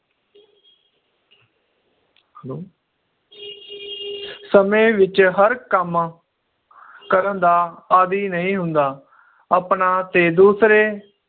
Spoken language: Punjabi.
hello ਸਮੇ ਵਿਚ ਹਰ ਕੰਮ ਕਰਨ ਦਾ ਆਦਿ ਨਹੀਂ ਹੁੰਦਾ ਆਪਣਾ ਤੇ ਦੂਸਰੇ